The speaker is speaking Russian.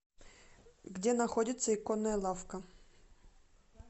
где находится иконная лавка